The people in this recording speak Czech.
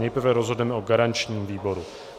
Nejprve rozhodneme o garančním výboru.